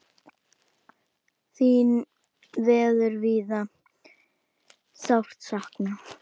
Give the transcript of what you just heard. Þín verður víða sárt saknað.